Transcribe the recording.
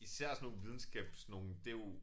Især sådan nogle videnskabsnogle det jo